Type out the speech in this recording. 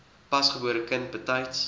pasgebore kind betyds